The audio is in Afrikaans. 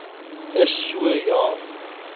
is so ja